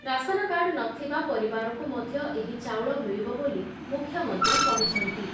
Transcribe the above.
Ration card ନଥିବା ପରିବାରକୁ ମଧ୍ୟ ଏହି ଚାଉଳ ମିଳିବ ବୋଲି ମୁଖ୍ୟମନ୍ତ୍ରୀ କହିଛନ୍ତି ।